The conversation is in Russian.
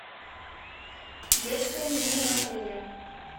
детское меню в отеле